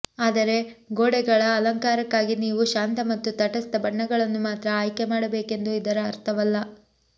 ಆದರೆ ಗೋಡೆಗಳ ಅಲಂಕಾರಕ್ಕಾಗಿ ನೀವು ಶಾಂತ ಮತ್ತು ತಟಸ್ಥ ಬಣ್ಣಗಳನ್ನು ಮಾತ್ರ ಆಯ್ಕೆ ಮಾಡಬೇಕೆಂದು ಇದರ ಅರ್ಥವಲ್ಲ